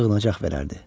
Sığınacaq verərdi.